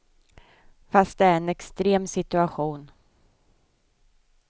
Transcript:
Fast det är en extrem situation.